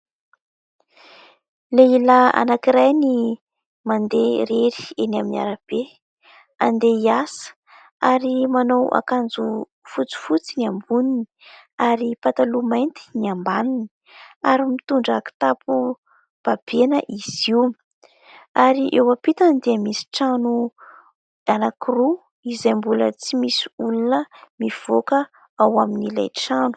Lehilahy anankiray ny mandeha irery eny amin'ny arabe, andeha hiasa ary manao akanjo fotsifotsy ny amboniny ary pataloha mainty ny ambaniny ary mitondra kitapo babena izy io ary eo ampitany dia misy trano anankiroa izay mbola tsy misy olona mivoaka ao amin'ilay trano.